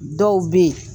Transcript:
Dɔw bɛ yen